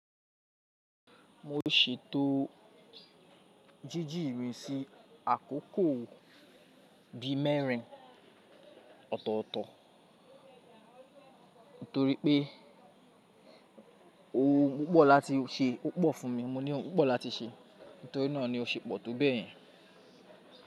Mo ṣètò jíjí mi si àkókò bi mẹ́rin ọ̀tọ̀ọ̀tọ̀ torí pé oun púpọ̀ láti ṣe ó pọ̀ fún mi, mo ní òun púpọ̀ láti ṣe, nítorí náà ni ó ṣe pọ̀ tó bẹ́ẹ̀ yẹn.